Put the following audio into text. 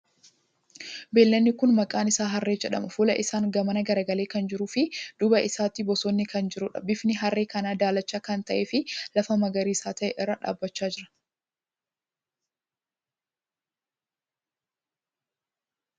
Beeyladni kuni maqaan isaa harree jedhama. Fuula isaan gamana garagalee kan jiruu fi duuba isaatti bosonni kan jiruudha. Bifni harree kanaa daalacha kan ta'ee fi lafa magariisa ta'e irra dhaabbachaa jira.